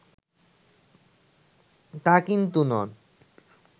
তা কিন্তু নন